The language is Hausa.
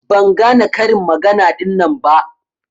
Ban gane karin magana ɗinnan ba.